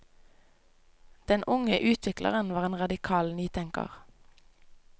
Den unge utvikleren var en radikal nytenker.